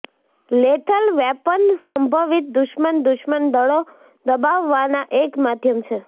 lethal weapon સંભવિત દુશ્મન દુશ્મન દળો દબાવવાના એક માધ્યમ છે